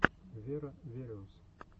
веро вериус